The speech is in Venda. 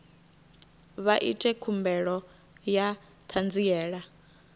vha ite khumbelo ya ṱhanziela